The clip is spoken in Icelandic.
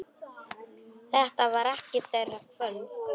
Þetta var ekki þeirra kvöld.